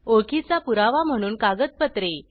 ओळखीचा पुरावा म्हणून कागदपत्रे